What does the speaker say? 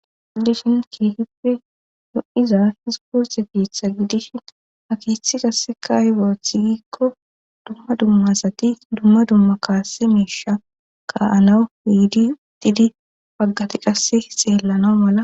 Gidishin keehippe no7iza hiziporxe piitha gidishin akiith qasse ka hiboothi giikko dumma dummasati dumma dumma kaasse meesha ka anawu hiidi utidi paggati qasse xeellana mala.